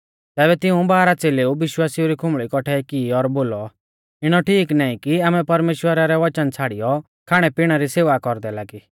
तैबै तिऊं बारह च़ेलेउऐ विश्वासिउ री खुंबल़ी कौट्ठै की और बोलौ इणौ ठीक नाईं कि आमै परमेश्‍वरा रै वचन छ़ाड़ियौ खाणैपिणै री सेवा कौरदै लागी